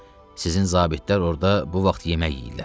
Sizin zabitlər orda bu vaxt yemək yeyirlər.